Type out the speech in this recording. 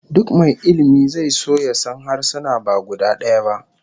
Duk mai ilmi zai so ya san harsuna ba guda daya ba